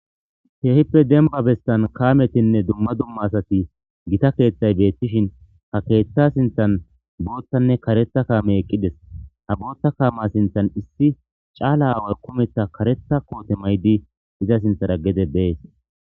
Keehippe demba bestan kaametinne dumma dumma asati gita keeththay beettishin ha keeththa sinthan boottanne karetha kaame eqqides ha bootta kaama sinthan issi caala aawar kumetha karetha koote maydi iza sinthara gede bees.